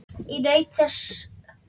Ég naut þess sem fleiri.